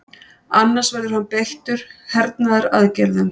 Annars verði hann beittur hernaðaraðgerðum